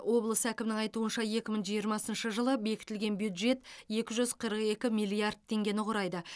облыс әкімінің айтуынша екі мың жиырмасыншы жылы бекітілген бюджет екі жүз қырық екі миллиард теңгені құрайды